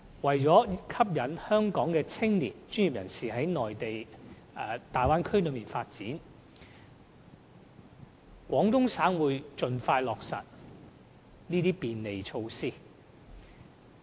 為了吸引香港的青年、專業人士到大灣區發展，廣東省會盡快落實這些便利措施。